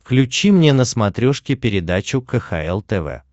включи мне на смотрешке передачу кхл тв